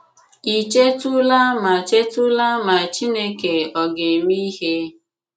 Ị̀ chètùlà ma chètùlà ma Chìnékè ọ̀ ga-eme ihe?